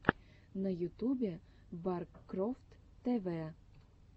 на ютубе баркрофт тэ вэ